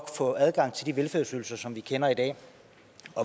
få adgang til de velfærdsydelser som vi kender i dag